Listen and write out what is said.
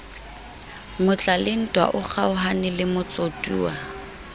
motlalentwa o kgaohane le motsotuwa